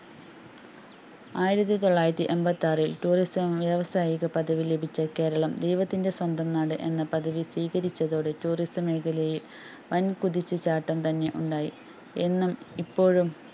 ആയിരത്തിതൊള്ളായിരത്തിഎമ്പത്തിആറിൽ Tourism വ്യാവസായിക പദവി ലഭിച്ച കേരളം ദൈവത്തിന്റെ സ്വന്തം നാട് എന്നാപദവി സ്വീകരിച്ചതോടെ Tourism മേഖലയില്‍ വന്‍ കുതിച്ചു ചാട്ടം തന്നെ ഉണ്ടായി എന്നും ഇപ്പോഴും